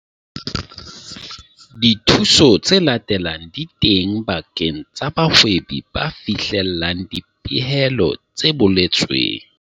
Dithuso tse latelang di teng bakeng sa bahwebi ba fihlellang dipehelo tse boletsweng.